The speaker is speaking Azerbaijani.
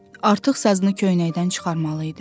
Artıq sazını köynəkdən çıxarmalı idi.